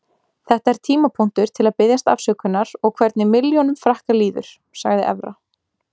Þetta er tímapunktur til að biðjast afsökunar og hvernig milljónum Frakka líður, sagði Evra.